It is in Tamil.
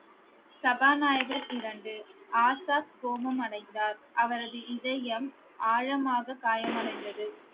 சபாநாயகர் இரண்டு, ஆசாத் கோபம் அடைந்தார் அவரது இதயம் ஆழமாக காயமடைந்தது